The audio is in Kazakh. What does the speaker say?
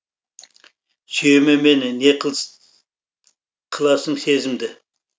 сүйеме мені не қыласың сезімді